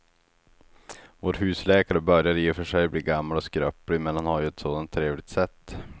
Vår husläkare börjar i och för sig bli gammal och skröplig, men han har ju ett sådant trevligt sätt!